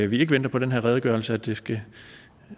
vi ikke venter på den her redegørelse at det skal